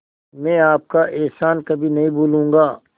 मैं आपका एहसान कभी नहीं भूलूंगा